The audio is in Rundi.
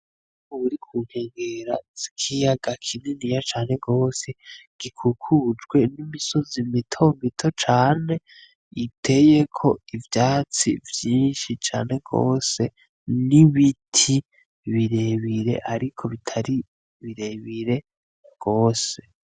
Uri ku nkengera z'ikiyaga kininiya cane gose, gikikujwe n’imisozi mitomito cane, iteyeko ivyatsi vyinshi cane gose n’ibiti birebire ariko bitari birebire gose.